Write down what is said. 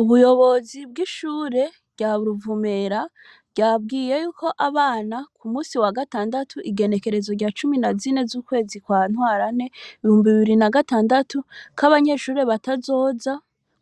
Ubuyobozi bw’ishure rya Ruvumera ryabwiye yuko abana ku munsi wa gatandatu igenekerezo rya cumi na zine z’ukwezi kwa Ntwarane, ibihumbi bibiri na gatandatu, ko abanyeshure batazoza